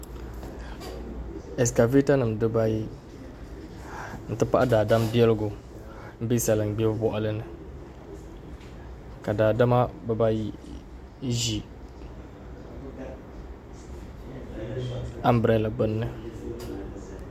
Ɛskavɛta nim dibayi n ti pahi daadam biɛligu n bɛ salin gbibu boɣali ni ka daadama bibayi ʒi anbirɛla gbunni